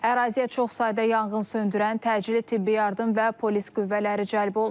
Əraziyə çox sayda yanğınsöndürən, təcili tibbi yardım və polis qüvvələri cəlb olunub.